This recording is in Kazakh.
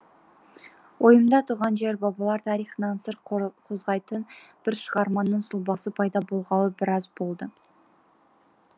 ойымда туған жер бабалар тарихынан сыр қозғайтын бір шығарманың сұлбасы пайда болғалы біраз болды